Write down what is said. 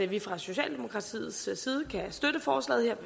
vi fra socialdemokratiets side kan støtte forslaget vi